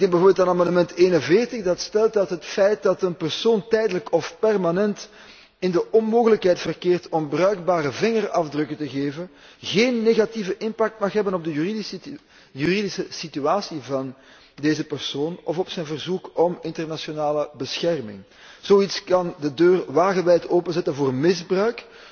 Bijvoorbeeld amendement 41, dat stelt dat het feit dat een persoon tijdelijk of permanent in de onmogelijkheid verkeert om bruikbare vingerafdrukken te geven, geen negatieve impact mag hebben op de juridische situatie van deze persoon of op zijn verzoek om internationale bescherming. Zoiets kan de deur wagenwijd openzetten voor misbruik.